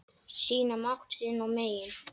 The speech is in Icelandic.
Sýna mátt sinn og megin.